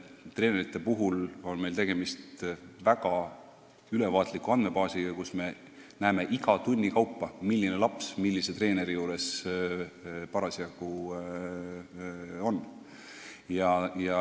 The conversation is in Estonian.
Treenerite puhul on meil tegemist väga ülevaatliku andmebaasiga, kust me näeme iga tunni kaupa, milline laps millise treeneri juures parasjagu on.